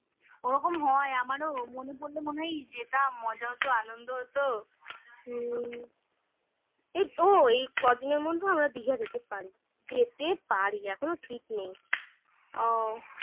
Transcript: ওরকম হয়. আমারও মনে পড়লে মনে হয় যেটা মজা হত, আনন্দ হত. হুম. এই তো হুম এই কদিনের মধ্যে আমরা দীঘা যেতে পারি. যেতে পারি এখনো ঠিক নেই. ও